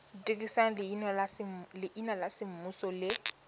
dirisa leina la semmuso le